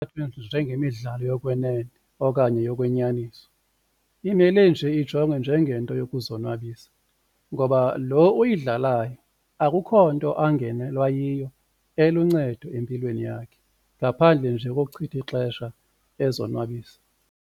Njengemidlalo yokwenene okanye yokwenyaniso imele nje ijongwe njengento yokuzonwabisa, ngoba lo uyidlalayo akukho nto angenelwa yiyo eluncedo empilweni yakhe ngaphandle nje kokuchitha ixesha ezonwabisisa.